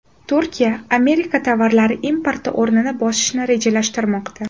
Turkiya Amerika tovarlari importi o‘rnini bosishni rejalashtirmoqda.